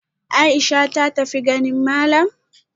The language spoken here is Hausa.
Aisha ta tafi ganin malam?